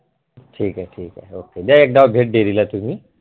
ठीक आहे द्या एक भेट dairy ला तुम्ही